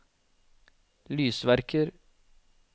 lysverker